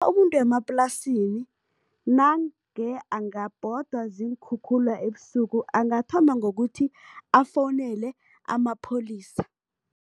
Umuntu wemaplasini nange angabhodwa ziinkhukhula ebusuku, angathoma ngokuthi, afowunele amapholisa.